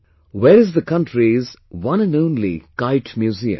Where is the country's one and only Kite Museum